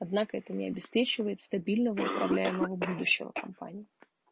однако это не обеспечивает стабильного управляемого будущего компании